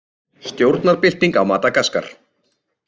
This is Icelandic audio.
Stjórnarbylting á Madagaskar